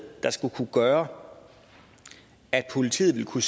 der skulle kunne gøre at politiet ville kunne